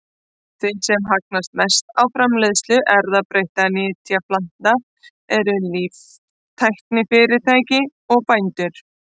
Þeir sem hagnast mest á framleiðslu erfðabreyttra nytjaplantna eru líftæknifyrirtæki og bændur.